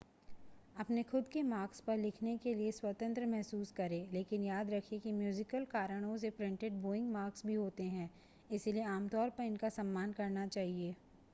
अपने खुद के मार्क्स पर लिखने के लिए स्वतंत्र महसूस करें लेकिन याद रखें कि म्यूज़िकल कारणों से प्रिंटेड बोइंग मार्क्स भी होते हैं इसलिए आमतौर पर उनका सम्मान करना चाहिए